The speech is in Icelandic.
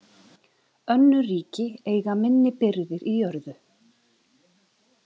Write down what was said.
Önnur ríki eiga minni birgðir í jörðu.